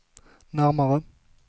närmare